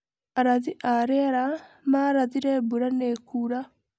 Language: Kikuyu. Arathi a rĩera mararathire mbura nĩ ĩkura.